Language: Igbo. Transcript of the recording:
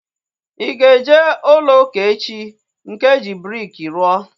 I ga-eje ụlọ ụka echi? Nke eji briki rụọ